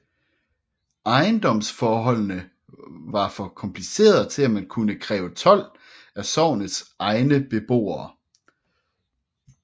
Ejendomsforholdene var for komplicerede til at man kunne kræve told af sognets egne beboere